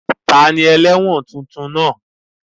Ta ni ẹlẹ́wọ̀n tuntun náà?